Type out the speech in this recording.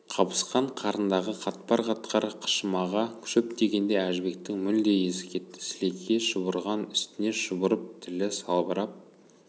қабысқан қарындағы қатпар-қатпар қышымаға шөп тигенде әжібектің мүлде есі кетті сілекейі шұбырған үстіне шұбырып тілі салбырап